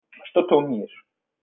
что там думаешь